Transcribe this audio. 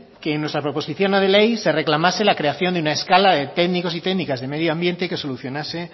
que en nuestra proposición no de ley se reclamase la creación en la escala de técnicos y técnicas de medio ambiente que solucionase